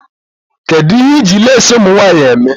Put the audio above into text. Kedụ ihe iji leesi ụmụnwanyị eme?